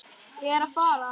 Ég er að fara.